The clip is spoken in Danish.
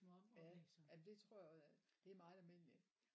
Ja jamen det tror jeg også er det er meget almindeligt